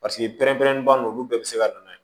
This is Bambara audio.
Paseke pɛrɛnpɛrɛnnin olu olu bɛɛ bɛ se ka na